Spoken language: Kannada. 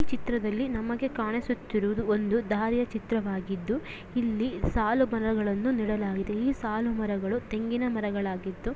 ಈ ಚಿತ್ರದಲಿ ನಮಗೆ ಕಾಣುತ್ರೋದು ದಾರಿ ಚಿತ್ರ ವಾಗಿದು ಸಲು ಮರಗಳನ್ನು ನೆಡಲಾಗಿದೆ ಈ ಮರಗಳು ತೆಂಗಿನ ಮರಗಳಾಗಿದ್ದು--